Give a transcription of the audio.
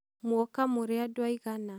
muoka mũrĩ andũ aigana?